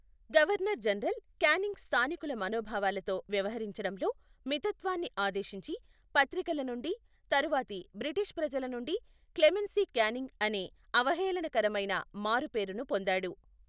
Governor general Canning స్థానికుల మనోభావాలతో వ్యవహరించడంలో మితత్వాన్ని ఆదేశించి, పత్రికల నుండి, తరువాతి బ్రిటిష్ ప్రజల నుండి 'క్లెమెన్సీ క్యానింగ్' అనే అవహేళనకరమైన మారుపేరును పొందాడు.